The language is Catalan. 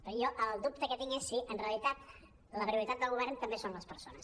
però jo el dubte que tinc és si en realitat la prioritat del govern també són les per·sones